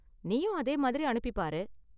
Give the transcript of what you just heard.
நீயும் அதே மாதிரி அனுப்பி பாரு